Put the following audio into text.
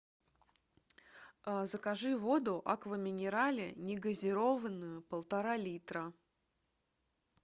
закажи воду аква минерале негазированную полтора литра